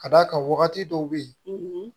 Ka d'a kan wagati dɔw bɛ yen